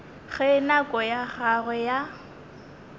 ge nako ya gagwe ya